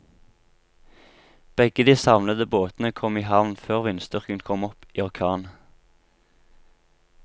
Begge de savnede båtene kom i havn før vindstyrken kom opp i orkan.